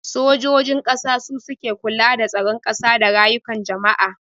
Sojojin ƙasa su suke kula da tsaron ƙasa da rayukan jama'a